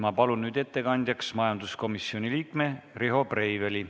Ma palun nüüd ettekandjaks majanduskomisjoni liikme Riho Breiveli.